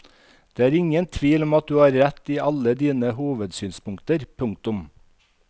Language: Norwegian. Det er ingen tvil om at du har rett i alle dine hovedsynspunkter. punktum